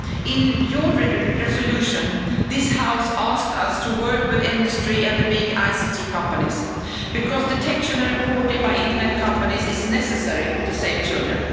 In your resolution, this House asked us to work with industry and the big ICT companies, because detection and reporting by internet companies is necessary to save children.